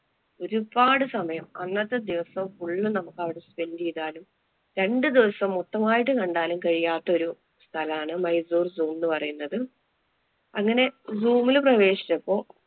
ഒരുപാട് സമയം അന്നത്തെ ദിവസം full അവിടെ spend ചെയ്താലും രണ്ടു ദിവസം മൊത്തമായിട്ടും കണ്ടാലും കഴിയാത്ത ഒരു സ്ഥലാണ് മൈസൂര്‍ zoom എന്ന് പറയുന്നത്. അങ്ങനെ zoom ല് പ്രവേശിച്ചപ്പോ